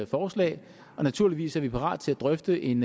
forslag og naturligvis er vi parat til at drøfte en